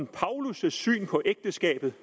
paulus syn på ægteskabet